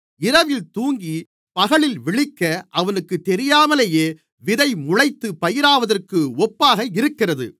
இரவில் தூங்கி பகலில் விழிக்க அவனுக்குத் தெரியாமலேயே விதை முளைத்துப் பயிராவதற்கு ஒப்பாக இருக்கிறது